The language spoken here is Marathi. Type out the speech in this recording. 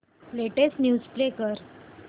लेटेस्ट न्यूज प्ले कर